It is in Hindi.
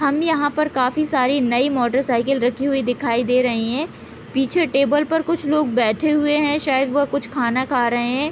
हम यहाँ पर काफी सारी नई मोटर साइकिल रखी हुई दिखाई दे रही हैं पीछे टेबल पर कुछ लोग बैठे हुए हैं शायद वह कुछ खाना खा रहे हैं।